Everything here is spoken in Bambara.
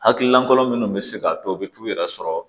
Hakililankolo minnu be se ka to u be t'u yɛrɛ sɔrɔ